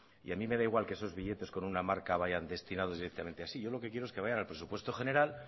y a mí me da igual que esos billetes con una marca vayan destinados directamente así lo que yo quiero es que vayan al presupuesto general